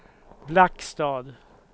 Blackstad